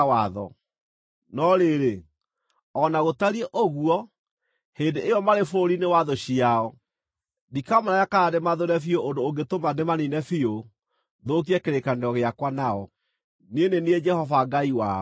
No rĩrĩ, o na gũtariĩ ũguo, hĩndĩ ĩyo marĩ bũrũri-inĩ wa thũ ciao, ndikamarega kana ndĩmathũũre biũ ũndũ ũngĩtũma ndĩmaniine biũ, thũkie kĩrĩkanĩro gĩakwa nao. Niĩ nĩ niĩ Jehova Ngai wao.